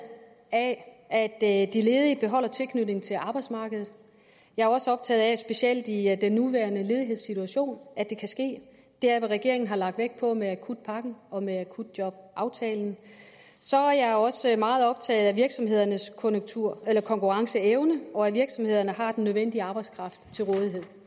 af at de ledige beholder tilknytningen til arbejdsmarkedet jeg er også optaget af specielt i den nuværende ledighedssituation at det kan ske det er hvad regeringen har lagt vægt på med akutpakken og med akutjobaftalen så er jeg også meget optaget af virksomhedernes konkurrenceevne og af at virksomhederne har den nødvendige arbejdskraft til rådighed